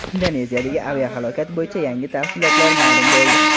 Indoneziyadagi aviahalokat bo‘yicha yangi tafsilotlar ma’lum bo‘ldi.